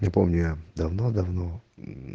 я помню я давно-давно мм